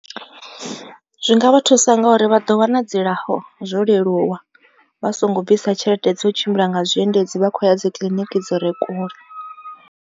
Zwi nga vhathusa ngauri vha ḓo wana dzilafho zwo leluwa vha songo bvisa tshelede dzo tshimbila nga zwiendedzi vha khou ya dzi kiḽiniki dzire kule.